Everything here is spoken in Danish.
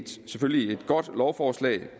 selvfølgelig et godt lovforslag ikke